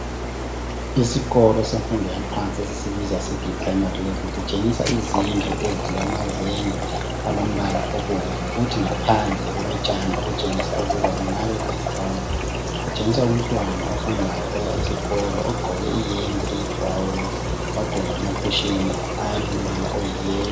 Isikolo semfundo yaphansi eseprayimari kutshengisa izindlu ezilamazenge alombala obomvu kuthi ngaphandle kulotshani okutshengisa ukuthi kungaba yinkundla. Kulomntwana ohambayo oya esikolo ogqoke iyembe eyibhurawuni lamaphushini alithanga.